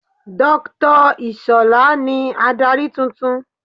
Dr Ishola ni adarí tuntun